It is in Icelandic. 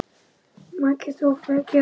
Maki Soffía Kjaran.